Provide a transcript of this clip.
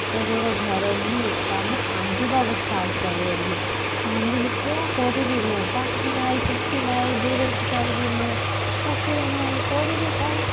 ଏତେ ବଡ ଘର ମୁଁ ଏକା ମୁଁ କନ୍ଦିବା ବି start କରିଦେଲି କାନ୍ଦିଲି କଣ କରିବି ମୁଁ ପାଠ ନାଇଁ କିଛି ନାଇଁ ବେରୋଜଗାର ବି ମୁଁ ଚାକିରି ନାଇଁ କରିବି କଣ